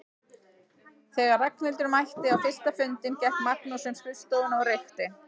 Þegar Ragnhildur mætti á fyrsta fundinn gekk Magnús um skrifstofuna og reykti.